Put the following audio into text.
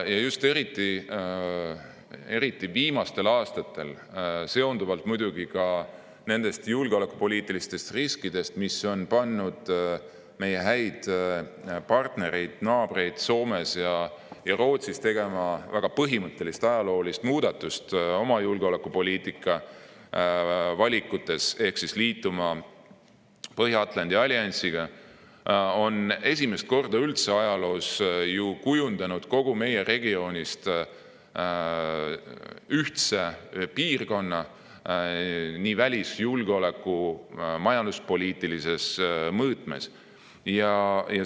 Just eriti viimastel aastatel on – seonduvalt muidugi ka julgeolekupoliitiliste riskidega, mis on pannud meie häid partnereid, naabreid Soomes ja Rootsis tegema väga põhimõttelist ajaloolist muudatust oma julgeolekupoliitika valikutes ehk siis liituma Põhja-Atlandi alliansiga – üldse esimest korda ajaloos kujunenud kogu meie regioonist ühtne piirkond nii välis‑, julgeoleku‑ kui ka majanduspoliitilises mõõtmes.